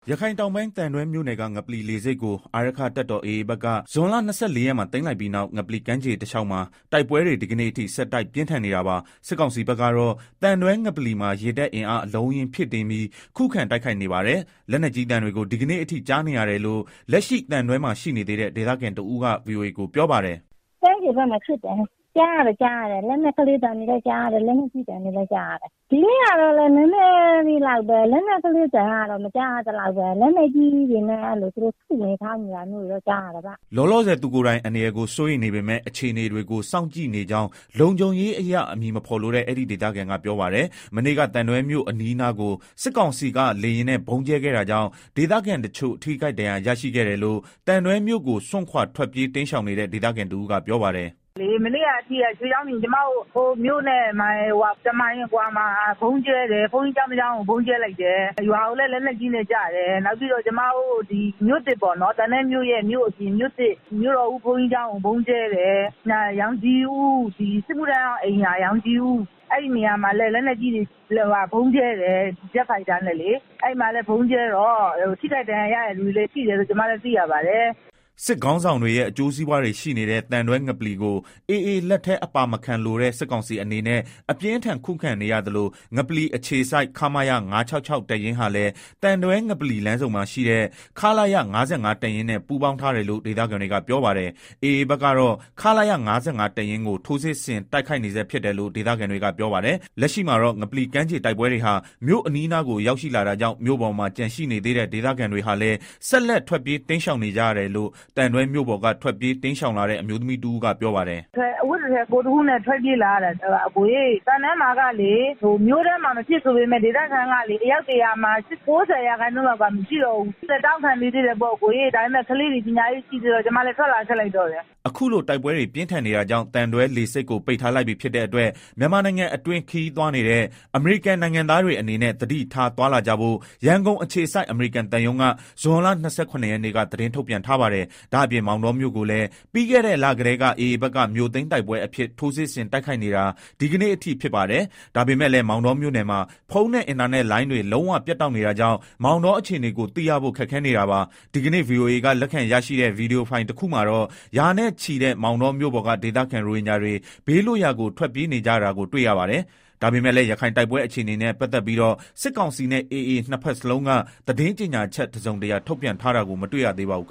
ရခိုင်တောင်ပိုင်း သံတွဲမြို့နယ်က ငပလီလေဆိပ်ကို အာရက္ခတပ်တော် AAဘက်က ဇွန်လ ရက်မှာ သိမ်း လိုက်ပြီးနောက် ငပလီကမ်းခြေတလျောက်မှာ တိုက်ပွဲတွေ ဒီကနေ့အထိ ဆက်တိုက်ပြင်း ထန်နေတာပါ။ စစ်ကောင်စီဘက်ကတော့ သံတွဲငပလီမှာ ရေတပ်အင်အားအလုံး အရင်းဖြည့်တင်းပြီး ခုခံတိုက်ခိုက်နေပါတယ်။ လက်နက်ကြီးသံတွေကို ဒီကနေ့အထိ ကြားနေရတယ်လို့ လက်ရှိသံတွဲမှာ ရှိနေသေးတဲ့ ဒေသခံတဦးက ဗွီအိုအေကို ပြောပါတယ်။ “ ကမ်းခြေဘက်မှာ ဖြစ်နေတယ် အသံတွေကြားရတယ်၊ လက်နက်ကလေး သံတွေ လည်းကြားရတယ် လက်နက်ကြီးသံတွေလည်းကြားရတယ်၊ ဒီနေ့ကတော့ လက်နက်ကလေးသံ သိပ်မကြားရဘူး လက်နက်ကြီးတွေနဲ့ ထုနေ ထောင်းနေသံတွေတော့ ကြား ရတယ်။” လောလောဆယ် သူကိုယ်တိုင် အန္တရာယ်ကို စိုးရိမ်နေပေမဲ့ အခြေအနေတွေကို စောင့်ကြည့်နေကြောင်း လုံခြုံရေးအရ အမည်မဖေါ်လိုတဲ့ အဲဒီ ဒေသခံက ပြောပါတယ်။ မနေ့က သံတွဲမြို့အနီးအနားကို စစ်ကောင်စီက လေယာဉ်နဲ့ ဗုံးကြဲခဲ့တာကြောင့် ဒေသခံတချို့ ထိခိုက်ဒဏ်ရာရတာရှိတယ်လို့ သံတွဲမြို့ကိုစွန့်ခွာ ထွက်ပြေးတိမ်းရှောင်နေတဲ့ ဒေသခံတဦးကပြောပါတယ်။ “ မနေ့က အထိကလေ ကျမတို့ မြို့နဲ့ တမိုင်အကွာလောက်မှာရှိတဲ့ ဗုံးကြဲတယ် ဘုန်းကြီး ကျောင်းတကျောင်း ကို ဗုံးကြဲလိုက်တယ်၊ လက်မှာလည်း လက်နက်ကြီးတွေ ကျတယ်၊ နောက်ပြီးတော့ ကျမတို့ သံတွဲမြို့သစ်ပေါ့နော် အဲဒီက ဘုးန်ကြီးကျောင်းကို ဗုံးကြဲတယ်၊ နောက် စစ်မှုထမ်းဟောင်း အိမ်ရာ ရောင်ခြည်ဦး အဲဒီနေရာမှာလည်း ဗုံးကြဲတယ်၊ ဂျက်ဖိုက်တာနဲ့လေ အဲဒီမှာ ထိခိုက်ဒဏ်ရာရတဲ့သူတွေ ရှိတယ်လို့ ကျမတို့ သိရပါတယ်။” စစ်ကောင်စီခေါင်းဆောင်တွေရဲ့ အကျိုးစီးပွားတွေ ရှိနေတဲ့ သံတွဲငပလီ AA လက်ထဲအပါမခံလိုတဲ့ စစ်ကောင်စီအနေနဲ့ အပြင်းအထန်ခံနေရသလို ငပလီအခြေစိုက် ခမရ ၅၆၆တပ်ရင်းဟာလည်း သံတွဲ ငပလီ လမ်းဆုံမှာရှိတဲ့ ခလရ ၅၅ တပ်ရင်းနဲ့ ပူးပေါင်းထားတယ်လို့ ဒေသခံတွေကပြောပါတယ်။ AA ဘက်ကတော့ ခလရ ၅၅တပ်ရင်းကို ထိုးစစ်ဆင်တိုက်ခိုက် နေဆဲဖြစ်တယ်လို့ ဒေသခံတွေကပြောပါတယ်။ လက်ရှိမှာတော့ ငပလီကမ်းခြေတိုက်ပွဲတွေဟာ မြို့အနီးအနားကို ရောက်ရှိလာတာကြောင့် မြို့ပေါ်မှာ ကျန်ရှိနေသေးတဲ့ဒေသခံတွေဟာလည်း ဆက်လက်ထွက်ပြေးတိမ်းရှောင် နေကြရတယ်လို့ သံတွဲမြို့ပေါ်က ထွက်ပြေးတိမ်းရှောင်လာတဲ့ အမျိုးသမီးတဦးက ပြောပါတယ်။ “ကျမတို့လည်း အဝတ်တထည်ကိုယ်တခုနဲ့ ထွက်ပြေးလာရတာ သံတွဲမှာကလည်း မြို့ထဲမှာ မဖြစ်ဆိုပေမယ့် ဒေသခံကလည်း အယောက် ၁ဝဝမှာ ၉ဝလောက်က မရှိတော့ဘူး။ ကျမတို့လည်း တောင့်ခံနေသေးတယ် ဒါပေမယ့် ကလေးတွေလည်း ပညာရေးကလည်း ရှိသေးတော့ ထွက်လာခဲ့လိုက်တယ်။” အခုလို တိုက်ပွဲတွေ ပြင်းထန်နေတာကြောင့် သံတွဲလေဆိပ်ကို ပိတ်ထားလိုက်ပြီ ဖြစ်တဲ့အတွက် မြန်မာနိုင်ငံအတွင်း ခရီးသွားနေတဲ့ အမေရိကန်နိုင်ငံသားတွေအနေနဲ့ သတိထားသွား လာကြဖို့ ရန်ကုန်အခြေစိုက် အမေရိကန်သံရုံးက ဇွန်လ ၂၇ ရက်နေ့က သတင်းထုတ်ပြန်ထားပါတယ်။ ဒါ့အပြင် မောင်တောမြို့ကိုလည်း ပြီးခဲ့တဲ့ လကတည်းက AAဘက်က မြို့သိမ်းတိုက်ပွဲအဖြစ် ထိုးစစ်ဆင်တိုက်ခိုက်နေတာဒီကနေ့အထိဖြစ်ပါတယ်။ ဒါပေမယ့်လည်း မောင်တောမြို့နယ်မှာ ဖုန်းနဲ့ အင်တာနက်လိုင်းတွေ လုံးဝပြတ်တောက်နေတာကြောင့် မောင်တောအခြေအနေ ကိုသိရဖို့ခက်ခဲနေတာပါ။ ဒီကနေ့ ဗွီအိုအေက လက်ခံရရှိတဲ့ ဗွီဒီယိုဖိုင်တခုမှာတော့ ရာနဲ့ချီ မောင်တောမြို့ပေါ်က ဒေသခံ ရိုဟင်ဂျာတွေ ဘေးလွတ်ရာကို ထွက်ပြေးနေကြတာကိုတွေ့ရပါတယ်။ ဒါပေမယ့်လည်း ရခိုင်တိုက်ပွဲအခြေအနေနဲ့ ပတ်သက်ပြီးတော့ စစ်ကောင်စီနဲ့ AAနှစ်ဘက်လုံးက သတင်းကြေညာချက် တစုံတရာထုတ်ပြန်ထားတာကို မတွေ့ရသေးပါဘူး။